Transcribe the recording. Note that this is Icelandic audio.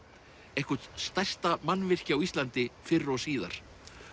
eitthvert stærsta mannvirki á Íslandi fyrr og síðar